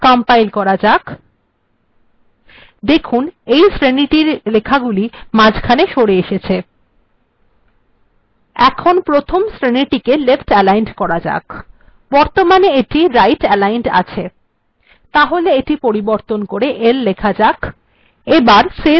compile করা যাক দেখুন এই শ্রেনীর লেখাগুলি এখন শ্রেনীর মাঝখানে সরে এসেছে এখন প্রথম শ্রেণীটিকে left aligned করা যাক বর্তমানে এটি right aligned আছে তাহলে এখানে পরিবর্তন করে l লিখে এটিকে left aligned করা যাক